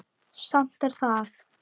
Samt er það